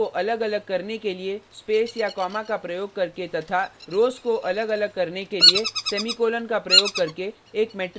कॉलमों को अलगअलग करने के लिए स्पेस या कॉमा का प्रयोग करके तथा रोज़ rows को अलगअलग करने के लिए सेमीकोलन का प्रयोग करके एक मेट्रिक्स को परिभाषित करना